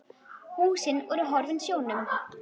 Húsin voru horfin sjónum.